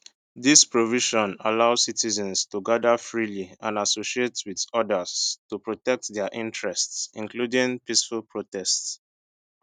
dis provision allow citizens to gada freely and associate wit odas to protect dia interests including peaceful protests